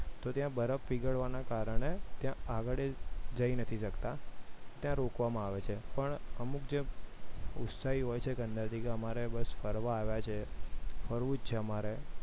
તો ત્યાં બરફ પીગળવાના કારણે આગળ જય નથી શકતા ત્યાં રોકવામાં આવે છે પણ અમુક જે ઉત્સાહી હોય છે અંદરથી કે અમારે બસ ફરવા આવ્યા છે ફરવું જ છે અમારે